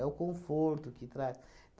o conforto que traz.